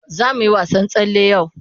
Za mu yi wasan tsalle yau.